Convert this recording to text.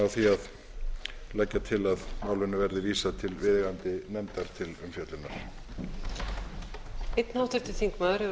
því að leggja til að málinu verði vísað til viðeigandi nefndar til umfjöllunar